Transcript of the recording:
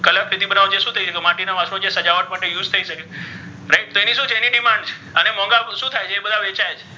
Colour છે તે શુ થઇ જાય તે માટીના વાસણો છે તે સજાવટ માટે use થઇ શકે છે right તો ઍની શુ છે ઍની demand છે અને મોન્ઘા તો ઍ બઘા શુ થાય છે ઍ બધા વેચાય છે.